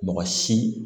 Mɔgɔ si